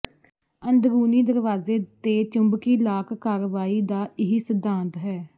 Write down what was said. ਅੰਦਰੂਨੀ ਦਰਵਾਜ਼ੇ ਤੇ ਚੁੰਬਕੀ ਲਾਕ ਕਾਰਵਾਈ ਦਾ ਇਹੀ ਸਿਧਾਂਤ ਹੈ